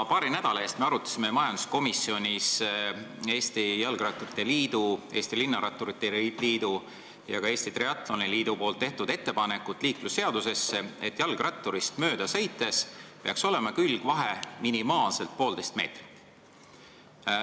Paari nädala eest arutasime majanduskomisjonis Eesti Jalgratturite Liidu, Eesti Linnaratturite Liidu ja ka Eesti Triatloni Liidu tehtud ettepanekut liiklusseadusesse, et auto külgvahe peaks jalgratturist mööda sõites olema minimaalselt poolteist meetrit.